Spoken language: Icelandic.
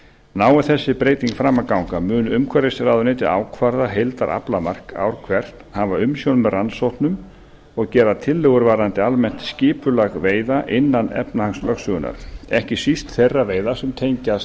nái þessi breyting fram að ganga mun umhverfisráðuneyti ákvarða heildaraflamark ár hvert hafa umsjón með rannsóknum og gera tillögur varðandi almennt skipulag veiða innan efnahagslögsögunnar ekki síst þeirra sem tengjast